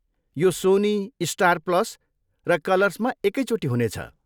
यो Sony, Star Plus र कलर्समा एकैचोटि हुनेछ।